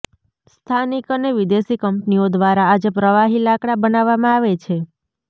સ્થાનિક અને વિદેશી કંપનીઓ દ્વારા આજે પ્રવાહી લાકડા બનાવવામાં આવે છે